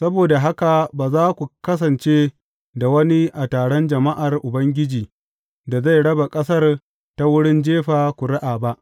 Saboda haka ba za ku kasance da wani a taron jama’ar Ubangiji da zai raba ƙasar ta wurin jefa ƙuri’a ba.